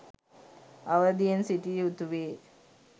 අවධියෙන් සිටිය යුතුවේ